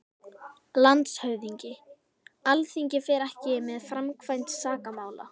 LANDSHÖFÐINGI: Alþingi fer ekki með framkvæmd sakamála.